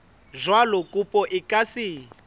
jwalo kopo e ka se